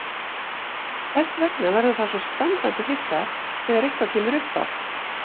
Þess vegna verður það svo standandi hissa þegar eitthvað kemur uppá.